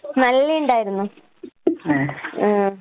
നല്ലേണ്ടായിരുന്ന് ഏ.